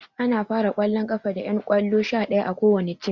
Ana fara ƙwallon ƙafa da ƴan ƙwallo sha ɗaya a kowani tim